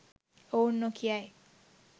ඔවුන් නොකියයි.